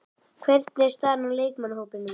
Hvernig er staðan á leikmannahópnum í dag?